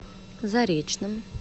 заречном